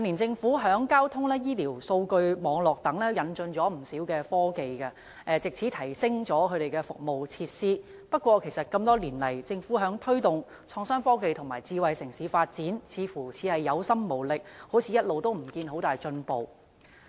政府近年在交通、醫療和數據網絡等方面引進不少科技，藉此提升了相關服務設施，但多年來，政府在推動創新科技和智慧城市的發展上，似乎是有心無力，一直也看不到有很大進步。